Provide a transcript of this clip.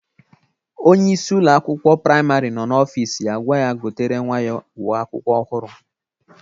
Onyeisi Ụlọ akwụkwọ praịmarị nọ n'ọfịs ya gwa ya gotere nwa ya uwe akwụkwọ ọhụrụ.